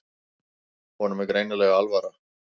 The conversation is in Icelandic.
Honum er greinilega alvara.